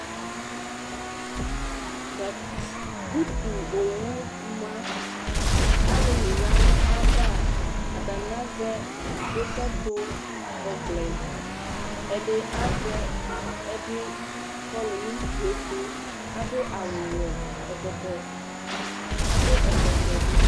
Utu owu ma alulu ya nu ayava Atani azɛ dukɛtu ɔvlɛ ɛdi kɔlu nu utu yɛ ɛtu adu awu ɔwɛ adu ɛkɔtɔ bi